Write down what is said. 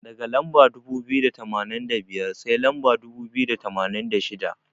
Daga lamba dubu biyu da tamanin da biyar, sai lamba dubu biyu da tamanin da shida.